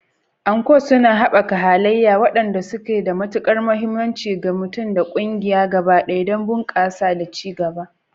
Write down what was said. Anko suna haɓaka halaye waɗanda suke da matukar mahimmanci ga mutum da ƙungiya gaba ɗaya don bunƙasa da ci gaba.